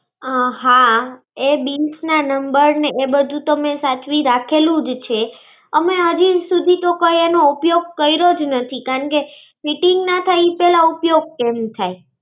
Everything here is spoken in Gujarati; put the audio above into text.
હાં. એ bill ના number ને એ બધું તો મેં સાચવીને રખેલુંજ છે. અમે અજુ સુધી કઈ એનો ઉપયોગ તો કયરોજ નથી. કારણકે fitting ના થાય તો ઉપયોગ કેમ થાય?